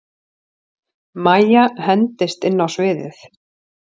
Mæja hendist inn á sviðið.